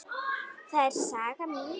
Það er saga mín.